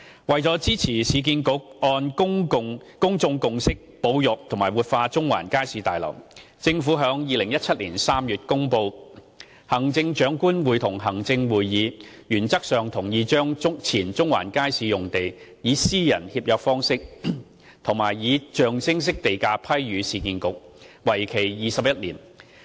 為支持市建局按公眾共識保育和活化中環街市大樓，政府在2017年3月公布行政長官會同行政會議原則上同意將前中環街市用地，以私人協約方式及象徵式地價批予市建局，為期21年。